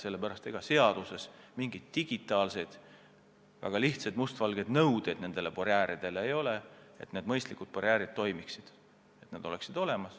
Sellepärast, et ega seaduses mingeid digitaalseid väga lihtsaid mustvalgeid nõudeid barjääridele ei ole, aga mingid mõistlikud barjäärid peaksid olemas olema ja toimima.